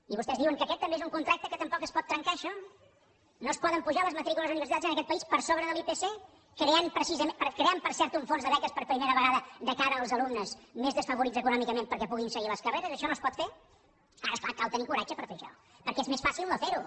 i vostès diuen que aquest també és un contracte que tampoc es pot trencar això no es poden apujar les matrícules universitàries en aquest país per sobre de l’ipc creant per cert un fons de beques per primera vegada de cara als alumnes més desafavorits econòmicament perquè puguin seguir les carreres això no es pot fer ara és clar cal tenir coratge per fer això perquè és més fàcil no fer ho